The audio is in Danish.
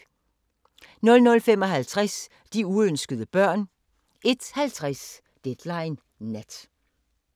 00:55: De uønskede børn 01:50: Deadline Nat